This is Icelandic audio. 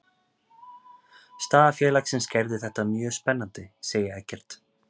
Staða félagsins gerði þetta mjög spennandi, segir Eggert.